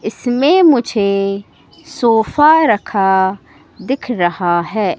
इसमें मुझे सोफा रखा दिख रहा है।